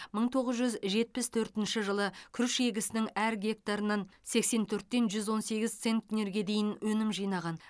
мың тоғыз жүз жетпіс төртінші жылы күріш егісінің әр гектарынан сексен төрттен жүз он сегіз центнерге дейін өнім жинаған